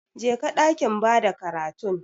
Jeka dakin bada karatun.